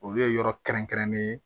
Olu ye yɔrɔ kɛrɛnkɛrɛnnen ye